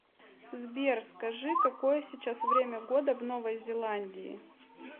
сбер скажи какое сейчас время года в новой зеландии